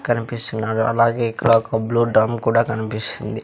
కనిపిస్తున్నావి అలాగే ఇక్కడ ఒక బ్లూ డ్రం కూడా కన్పిస్తుంది.